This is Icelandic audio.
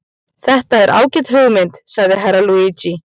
Þetta er ágæt hugmynd, sagði Herra Luigi.